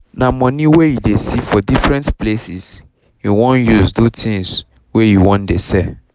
na money wey e dey see for different places him wan use do things wey he wan dey selll